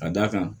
Ka d'a kan